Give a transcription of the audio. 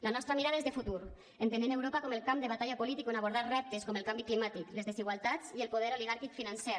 la nostra mirada és de futur entenent europa com el camp de batalla polític on abordar reptes com el canvi climàtic les desigualtats i el poder oligàrquic financer